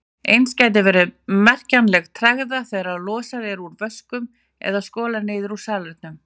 Eins gæti verið merkjanleg tregða þegar losað er úr vöskum eða skolað niður í salernum.